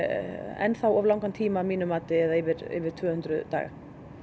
enn þá of langan tíma að mínu mati eða yfir tvö hundruð daga